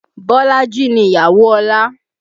Bolaji ni ìyàwó Ọlá